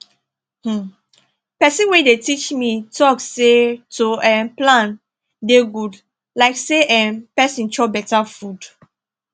hmm person wey dey teach me talk say to um plan dey good like say[um]person chop beta food